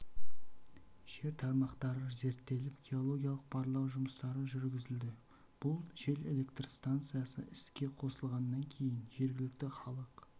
жел тармақтары зерттеліп геологиялық барлау жұмыстары жүргізілді бұл жел электр станциясы іске қосылғаннан кейін жергілікті халық